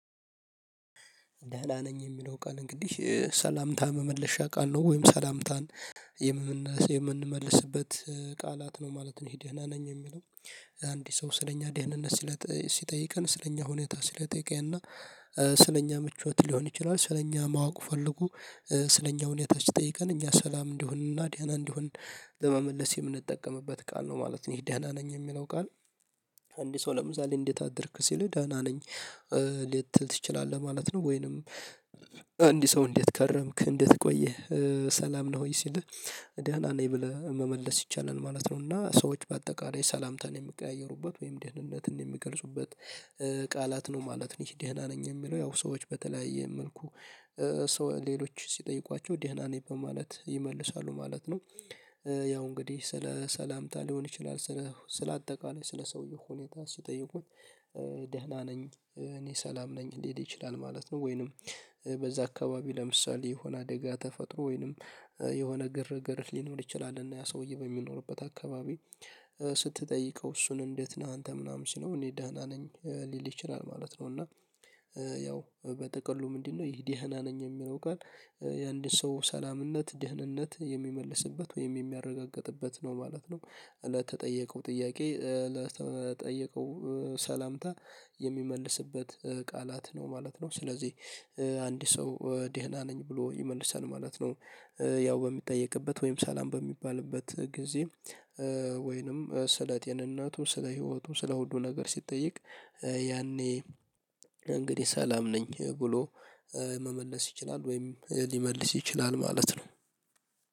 ደህና ነኝ የሚለው ቃል እንግዲህ ሰላምታ መመለሻ ቃል ነው ወይም ሰላምታን የምንመልስበት ቃላት ነው ማለት ነው ይህ ደህና ነኝ የሚለው። አንድ ሰው ስለኛ ደህንነት ሲጠይቀን ስለኛ ሁኔታ ስለጠየቀና ስለኛ ምቾት ሊሆን ይችላል ስለኛ ማወቅ ፈልጎ ስለኛ ሁኔታ ሲጠይቀን እኛ ሰላም እንደሆንና ዳና እንደሆን ለመመለስ የምንጠቀምበት ቃል ነው ማለት ነው ይሄ ደና ነኝ የሚለው ቃል። አንድ ሰው ለምሳሌ እንዴት አደርክ ሲል ደህና ነኝ ልትል ትችላለህ ማለት ነው። ወይንም እንድ ሰው እንዴት ከረምክ እንዴት ቆየህ ሰላም ነህ ወይ ሲልህ ደህና ነኝ ብለህ መመለስ ይቻላል ማለት ነው። እና ሰዎች በአጠቃላይ ሰላምታን የሚቀያየሩበት ወይም ደህንነትን የሚገልጹበት ቃላት ነው ማለት ነው ይሄ ደህና ነኝ የሚለው ያው ሰዎች በተለያየ መልኩ ሰው ሌሎች ሲጠይቋቸው ደህና ነኝ በማለት ይመልሳሉ ማለት ነው። ያው እንግዲህ ስለ ሰላምታ ሊሆን ይችላል ስለ ስለ አጠቃላይ ስለ ሰውየው ሁኔታ ሲጠይቁት ደህና ነኝ እኔ ሰላም ነኝ ሊል ይችላል ማለት ነው። ወይንም በዛ አካባቢ ለምሳሌ የሆነ አደጋ ተፈጥሮ ወይንም የሆነ ግርግር ሊኖር ይችላል እና ያ ሰውዬ በሚኖርበት አካባቢ ስትጠይቀው እሱን እንዴት ነህ አንተ ምናምን ስለው እኔ ደህና ነኝ ሊል ይችላል ማለት ነው። እና ያው በጠቅሉ ምንድን ነው ይሄ ደህና ነኝ የሚለው ቃል የአንድ ሰው ሰላምነት ደህንነት የሚመልስበት ወይም የሚያረጋግጥበት ነው ማለት ነው። ለተጠየቀው ጥያቄ ለተጠየቀው ሰላምታ የሚመልስበት ቃላት ነው ማለት ነው። ስለዚህ አንድ ሰው ደህና ነኝ ብሎ ይመልሳል ማለት ነው። ያው በሚጠየቅበት ወይም ሰላም በሚባልበት ጊዜ ወይንም ስለ ጤንነቱ ስለ ህይወቱ ስለ ሁሉ ነገር ሲጠየቅ ያኔ እንግዲህ ሰላም ነኝ ብሎ መመለስ ይችላል ወይም ሊመልስ ይችላል ማለት ነው።